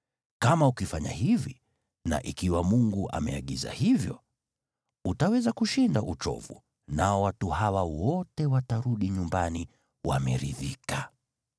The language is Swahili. Kama ukifanya hivi, na ikiwa Mungu ameagiza hivyo, utaweza kushinda uchovu, nao watu hawa wote watarudi nyumbani wameridhika.”